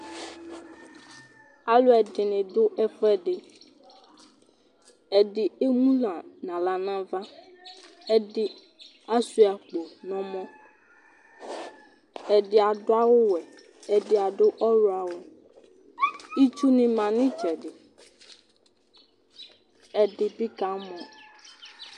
Alʋɛdɩnɩ dʋ ɛfʋɛdɩ Ɛdɩ emu nʋ aɣla nʋ ava Ɛdɩ asʋɩa akpo nʋ ɔmɔ Ɛdɩ adʋ awʋwɛ, ɛdɩ adʋ ɔɣlɔ awʋ Itsunɩ ma nʋ ɩtsɛdɩ, ɛdɩ bɩ kamɔ